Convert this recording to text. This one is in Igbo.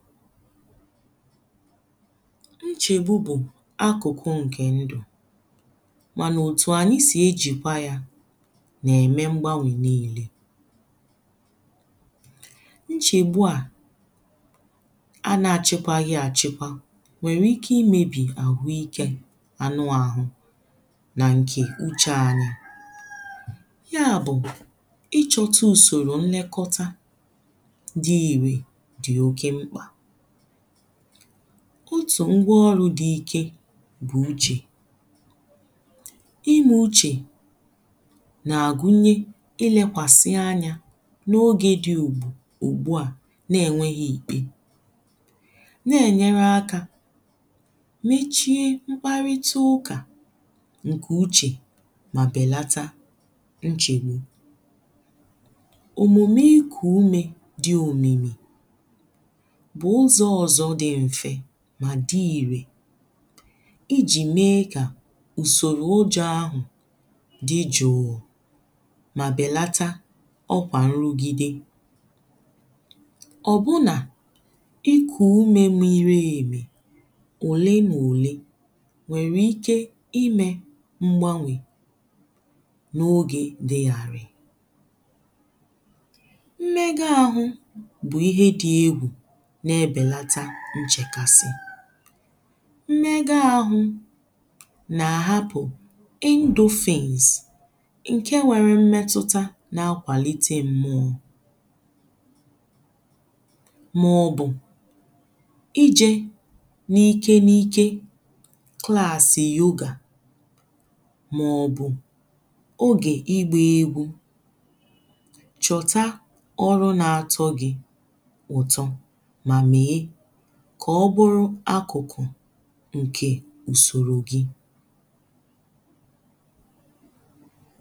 ńʧègbú bʊ̀ ákʊ̀kʊ́ ŋ̀kè ńdʊ̀ mànà òtù ànyị sị̀ ejìkwa yā na-ème mgbanwè niilē nchègbu a anà àchịkwaghī àchịkwa nwèrè ike imēbì àhụikē anụ ahụ nà ǹkè uchè anyị̄ ya bụ̀ ịchọ̄tụ ùsòrò nnekọta dị ìrè dị̀ oke mkpà kutù ngwọọrụ̄ dị ike bụ̀ uchè ịmụ̄ uchè nà-àgunye ilēkwàsị̇̀ anyā n’ogè dị ùgbù ụ̀gbụ̀a n’enwéhị̄ ìkpe na-enyērē akā mechie mkparịtụ ụkà ǹkè uchè mà bèlata nchègbu òmùme ikù umē dị òmìmì 000 bụ̀ ụzọ̀ ọ̀zọ dị m̀fe mà dị ìrè ijì mee kà ùsòrò ụjọ̄ ahụ̀ dị jụụ̀ mà bèlata ọkwà nrugide ọ̀ bụ nà ikù umē mirièmì òlee n’òlee nwèrè ike imē mgbanwè n’ogè dị ghàrị̀ ime ga ahụ̄ bụ̀ ihe dị egwù na-ebèlata nchèkasị ime ga ahụ̄ nà hapụ̀ indufins ǹke nwèrè imetụta na kwàlite mmụọ̄ maọ̀bụ̀ ijē n’ike n’ike klassi yoga maọ̀bụ̀ ogè ịgbā egwū chọ̀ta ọrụ na-atọ gị̄ ụ̀tọ mà mēē kà ọbụrụ akụ̀kụ̀ ǹkè ùsòrò gị